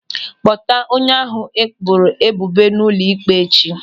Kpọta onye ahụ e boro ebubo n'ụlọ ịkpe echi.